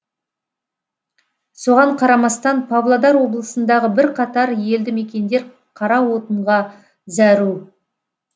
соған қарамастан павлодар облысындағы бірқатар елді мекендер қара отынға зәру